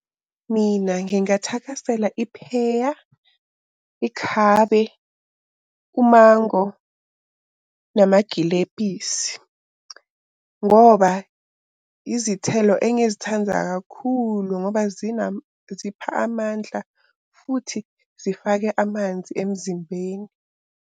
Mina ngingathakasela ipheya, ikhabe, umango, namagilebhisi. Ngoba izithelo engizithanda kakhulu ngoba zipha amandla futhi zifake amanzi emzimbeni.